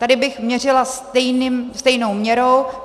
Tady bych měřila stejnou měrou.